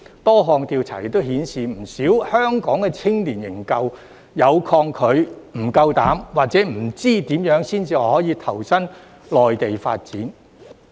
多項調查顯示，不少香港青年仍抗拒、不敢或不知如何前往內地發展。